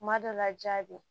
Kuma dɔ la ja be ye